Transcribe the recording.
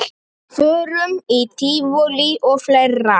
Förum í tívolí og fleira.